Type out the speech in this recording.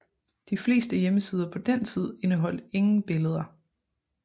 De fleste hjemmesider på den tid indeholdt ingen billeder